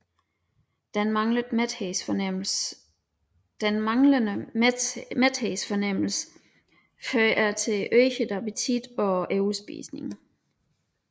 Den manglende mæthedsfornemmelse fører til øget appetit og overspisning